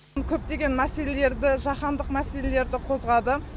көптеген мәселелерді жаһандық мәселелерді қозғады